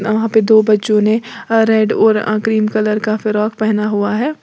वहां पे दो बच्चों ने रेड और क्रीम कलर का फ्रॉक पहना हुआ है।